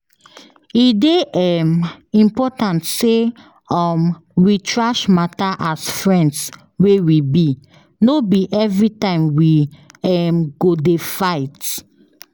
E dey um important sey um we trash matter as friends wey we be, no be every time we um go dey fight